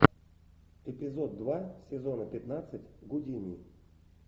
эпизод два сезона пятнадцать гудини